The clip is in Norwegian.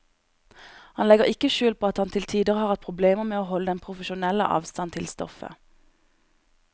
Han legger ikke skjul på at han til tider har hatt problemer med å holde den profesjonelle avstand til stoffet.